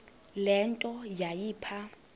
le nto yayipha